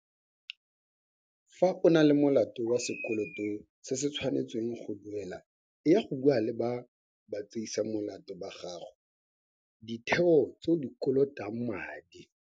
Fa o na le molato wa sekoloto se se tshwanetseng go duelwa eya go bua le batseisamolato ba gago ditheo tse o di kolotang madi.